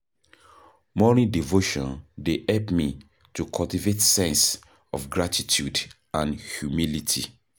Morning devotion dey help me to cultivate sense of gratitude and humility.